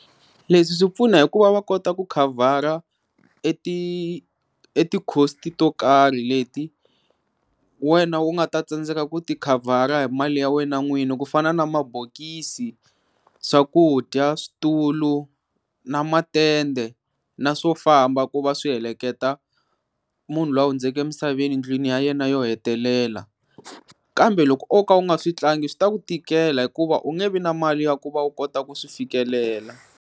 Leswi swi pfuna hikuva va kota ku khavhara e ti e ti-cost-i to karhi leti wena u nga ta tsandzeka ku ti khavhara hi mali ya wena n'wini ku fana na mabokisi, swakudya, switulu na matende na swo famba ku va swi heleketa munhu luya hundzeke emisaveni ndlwini ya yena yo hetelela kambe loko oka u nga swi tlangi swi ta ku tikela hikuva u nge vi na mali ya ku va u kota ku swi fikelela.